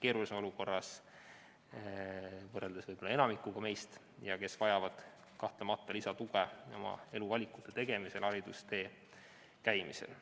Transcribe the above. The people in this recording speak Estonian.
keerulisemas olukorras võrreldes enamikuga meist ning vajavad kahtlemata lisatuge oma elu valikute tegemisel ja haridustee käimisel.